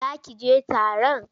Za ki je taron?